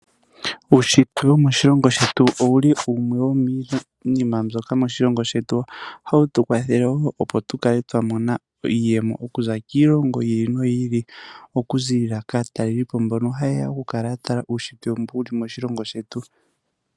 Uunshitwe womoshilongo shetu owu li wumwe wo miinima mbyoka moshilongo shetu hawu tu kwathele wo opo tu kale twa mona iiyemo, okuza kiilongo yi ili noyi ili, oku ziilila kaatalelipo mbono haye ya oku kala ya tala uushitwe mbu wu li moshilongo shetu.